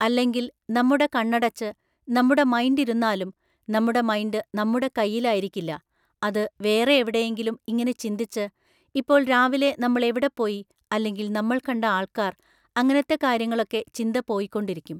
അല്ലെങ്കിൽ നമ്മുടെ കണ്ണടച്ച് നമ്മുടെ മൈൻഡ് ഇരുന്നാലും നമ്മുടെ മൈൻഡ് നമ്മുടെ കയ്യിലായിരിക്കില്ല. അത് വേറെ എവിടെയെങ്കിലും ഇങ്ങനെ ചിന്തിച്ച്, ഇപ്പോൾ രാവിലെ നമ്മൾ എവിടെ പോയി അല്ലെങ്കിൽ നമ്മൾ കണ്ട ആൾക്കാർ, അങ്ങനത്തെ കാര്യങ്ങളൊക്കെ ചിന്ത പോയിക്കൊണ്ടിരിക്കും.